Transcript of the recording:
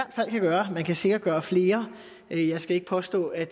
gøre man kan sikkert gøre flere og jeg skal ikke påstå at